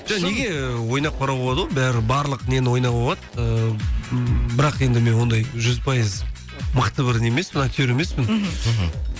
жоқ неге ойнап қарауға болады ғой бәрі барлық нені ойнауға болады ыыы бірақ енді мен ондай жүз пайыз мықты бір не емеспін актер емеспін мхм мхм